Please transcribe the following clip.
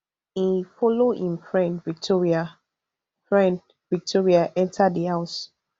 e follow im friend victoria friend victoria enta di house